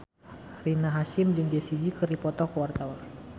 Rina Hasyim jeung Jessie J keur dipoto ku wartawan